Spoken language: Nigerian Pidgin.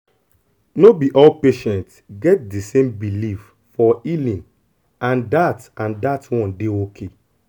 no be all patient get di same belief for healing and dat and dat one dey okay